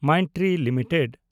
Mindtree limited